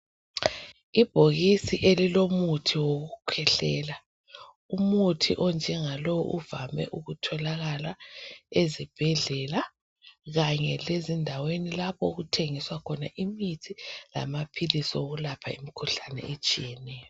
Ibhokisi elilomuthi wokukhwehlela. Umuthi onjengalowu uvame ukutholakala ezibhedlela kanye lezindaweni lapho okuthengiswa khona imithi lamaphilisi okulapha imikhuhlane etshiyeneyo.